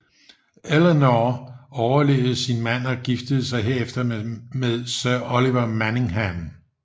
Eleanor overlevede sin mand og giftede sig derefter med Sir Oliver Manningham